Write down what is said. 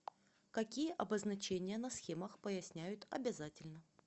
какие обозначения на схемах поясняют обязательно